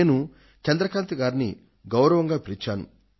నేను చంద్రకాంత్ గారిని గౌరవంగా పిలిచాను